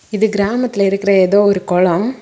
இது கிராமத்துல இருக்குற ஏதோ ஒரு கொளம்.